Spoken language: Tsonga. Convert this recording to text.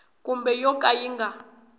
kumbe yo ka yi nga